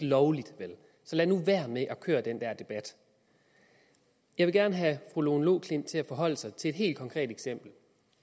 lovligt så lad nu være med at køre den der debat jeg vil gerne have at fru lone loklindt forholder sig til et helt konkret eksempel i